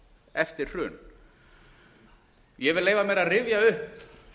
eftir hrun ég vil leyfa mér að rifja upp